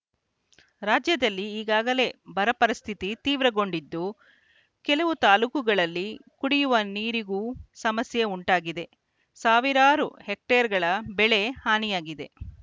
ರಾಜ್ಯದಲ್ಲಿ ಈಗಾಗಲೇ ಬರ ಪರಿಸ್ಥಿತಿ ತೀವ್ರಗೊಂಡಿದ್ದು ಕೆಲವು ತಾಲೂಕುಗಳಲ್ಲಿ ಕುಡಿಯುವ ನೀರಿಗೂ ಸಮಸ್ಯೆ ಉಂಟಾಗಿದೆ ಸಾವಿರಾರು ಹೆಕ್ಟೇರ್‌ಗಳ ಬೆಳೆ ಹಾನಿಯಾಗಿದೆ